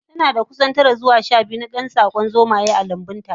Tanada kusan tara zuwa shabiyu na dan tsakon zomaye a lambunta